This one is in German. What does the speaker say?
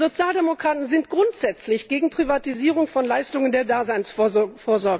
Wir Sozialdemokraten sind grundsätzlich gegen Privatisierung von Leistungen der Daseinsvorsorge.